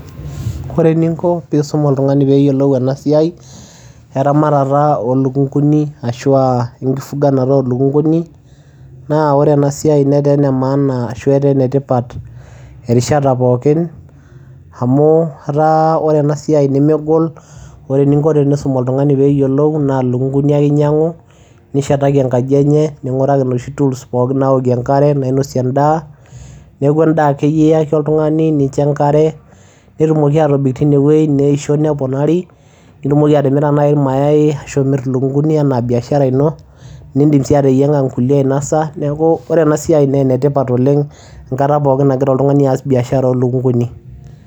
ore eninko pee iisum oltungani pee eyiolou ena siai eramatata oolukunkuni. ashu aa enkifuganata ooluknkuni, naa ore ena siiai netaa ene maana shu etaa enetipat erishata pookin amu, etaa ore ena siai nemegol. ore eninko pee iisum oltungani pee eyiolou naa ilukunkuni ake inyiangu nishetaki enkaji enye. ninguraki inoshi tools naokie ashu pee inosie edaa. neku edaa akeyie iyaki oltungani niyaki enkare. nitumoki atobik teinewueji neisho neponari. nitumoki atimira naaji iramayai aashu imir iluknkuni ena biashara ino. nidim sii ateyianga nkulie ainosa neeku ore ena siia naa ene tipat oleng enkata pookin nagira oltungani aas bbiashara ooluknkuni.